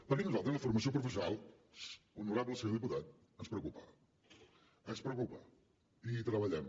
perquè a nosaltres la formació professional honorable senyor diputat ens preocupa ens preocupa i hi treballem